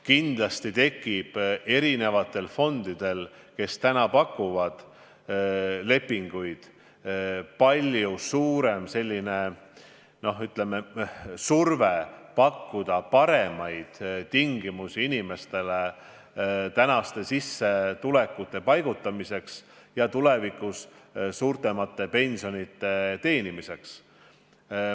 Kindlasti tekib erinevatele fondidele, kes praegu pakuvad lepinguid, palju suurem surve pakkuda paremaid tingimusi inimeste sissetulekute paigutamiseks ja tulevikus suuremate pensionite saamiseks.